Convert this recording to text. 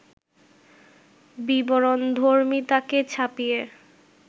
বিবরণধর্মিতাকে ছাপিয়ে